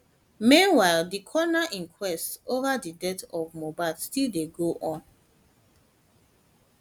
meanwhile di coroner inquest ova di death of mohbad still dey go on